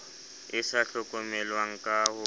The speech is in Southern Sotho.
e sa hlokomelweng ka ho